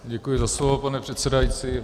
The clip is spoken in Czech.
Děkuji za slovo, pane předsedající.